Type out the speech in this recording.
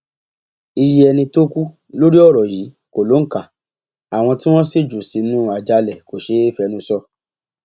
iye ẹni tó kú lórí ọrọ yìí kò lóǹkà àwọn tí wọn sì jù sínú àjàalẹ kò ṣeé fẹnu sọ